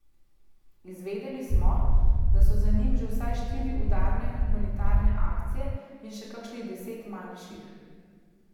Izvedeli smo, da so za njim že vsaj štiri udarne humanitarne akcije in še kakšnih deset manjših.